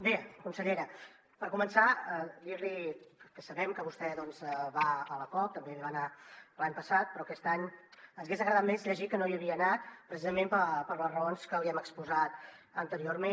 bé consellera per començar dir li que sabem que vostè doncs va a la cop també hi va anar l’any passat però aquest any ens hagués agradat més llegir que no hi havia anat precisament per les raons que li hem exposat anteriorment